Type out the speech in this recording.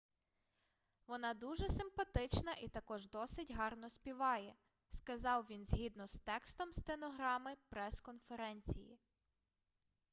вона дуже симпатична і також досить гарно співає - сказав він згідно з текстом стенограми прес-конференції